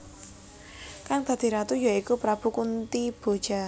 Kang dadi Ratu ya iku Prabu Kuntiboja